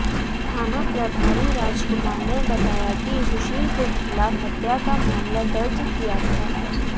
थाना प्रभारी राजकुमार ने बताया कि सुशील के खिलाफ हत्या का मामला दर्ज किया था